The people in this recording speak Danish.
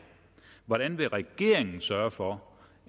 hvordan vil regeringen sørge for